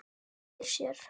Veltir sér.